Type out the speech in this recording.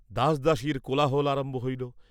দাসদাসীর কোলাহল আরম্ভ হইল।